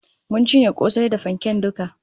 Mun cinye kosai da fanken duka